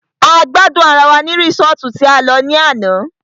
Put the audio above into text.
A gbádùn ará wá ní resọ́ọ́tu tí a lọ ní àná.